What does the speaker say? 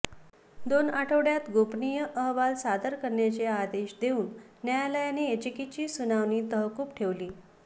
दोन आठवड्यात गोपनीय अहवाल सादर करण्याचे आदेश देऊन न्यायालयाने याचिकेची सुनावणी तहकूब ठेवली